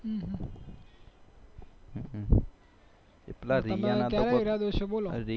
બરાબર છે બોલો